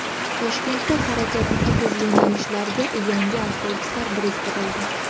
Toshkentda harakati tig‘iz yo‘nalishlarga yangi avtobuslar biriktirildi.